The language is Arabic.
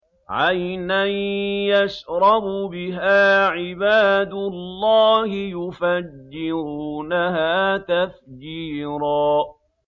عَيْنًا يَشْرَبُ بِهَا عِبَادُ اللَّهِ يُفَجِّرُونَهَا تَفْجِيرًا